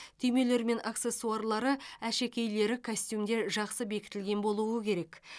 түймелері мен аксессуарлары әшекейлері костюмде жақсы бекітілген болуы керек